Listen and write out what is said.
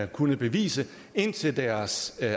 kunnet bevise indtil deres